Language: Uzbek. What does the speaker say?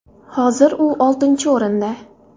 Hozir u oltinchi o‘rinda.